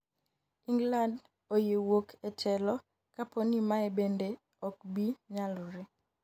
England oyie wuok e telo kapo ni mae bende ok bi nyalore